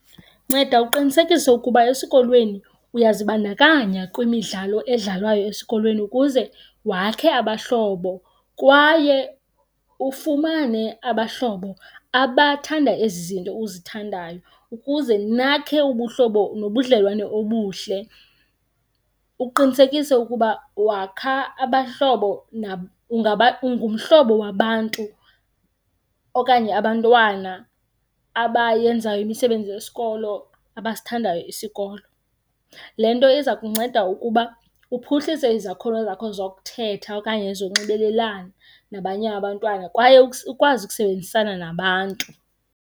Nceda uqinisekise ukuba esikolweni uyazibandakanya kwimidlalo edlalwayo esikolweni ukuze wakhe abahlobo kwaye ufumane abahlobo abathanda ezi zinto uzithandayo ukuze nakhe ubuhlobo nobudlelwane obuhle. Uqinisekise ukuba wakha abahlobo ungumhlobo wabantu okanye abantwana abayenzayo imisebenzi yesikolo abasithandayo isikolo. Le nto iza kunceda ukuba uphuhlise izakhono zakho zokuthetha okanye zonxibelelana nabanye abantwana kwaye ukwazi ukusebenzisana nabantu.